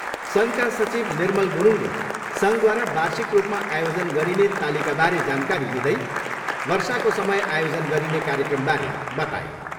सङ्घका सचिव निर्मल गुरुङले सङ्घद्वारा बार्षिक रूपमा आयोजन गरिने तालिकाबारे जानकारी दिँदै वर्षाको समय आयोजन गरिने कार्यक्रमबारे बताए।